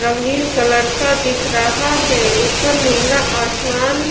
रंगीन कलर का दिख रहा है ऊपर नीला आसमान--